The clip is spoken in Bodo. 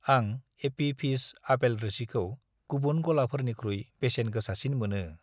आं एपि फिज आपेल रोसिखौ गुबुन गलाफोरनिख्रुइ बेसेन गोसासिन मोनो।